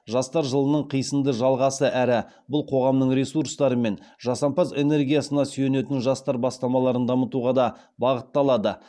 жастар жылының қисынды жалғасы әрі бұл қоғамның ресурстары мен жасампаз энергиясына сүйенетін жастар бастамаларын дамытуға да бағытталады